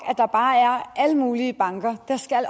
at der er alle mulige banker der skal